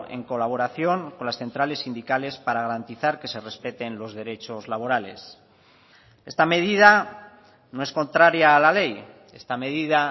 en colaboración con las centrales sindicales para garantizar que se respeten los derechos laborales esta medida no es contraria a la ley esta medida